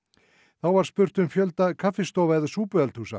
þá var spurt um fjölda kaffistofa eða